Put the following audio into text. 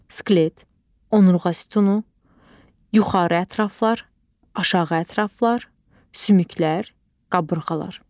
Skelet, onurğa sütunu, yuxarı ətraflar, aşağı ətraflar, sümüklər, qabırğalar.